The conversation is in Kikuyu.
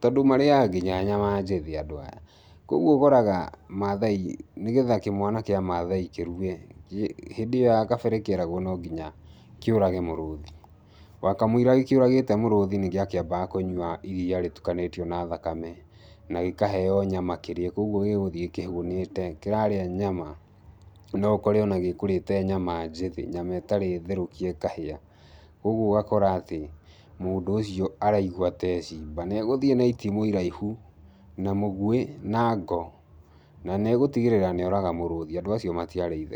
Tondũ marĩaga nginya nyama njĩthĩ andũ aya. Kũguo ũkoraga Maathai nĩgetha kĩmwana kĩa Maathai kĩrue, hĩndĩ ĩyo ya kabere kĩeragwo no nginya kĩũrage mũrũthi. Wakamũira gĩkĩũragĩte mũrũthi nĩ gĩakambaga kũnyua iriia rĩtukanĩtio na thakame, na gĩkaheeo nyama kĩrĩe. Kũguo gĩgũthiĩ kĩhũnĩte. Kĩrarĩa nyama, no ũkore ona gĩkũrĩte nyama njĩthĩ nyama ĩtarĩ therũkie ĩkahĩa. Kũguo ũgakora atĩ, mũndũ ũcio araigua ta ee simba pcs]. Na egũthiĩ na itimu iraihu, na mũguĩ na ngo, na nĩ egũtigĩrĩra nĩ oraga mũrũthi. Andũ acio matiarĩ itherũ.